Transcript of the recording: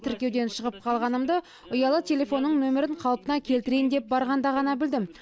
тіркеуден шығып қалғанымды ұялы телефонның нөмірін қалпына келтірейін деп барғанда ғана білдім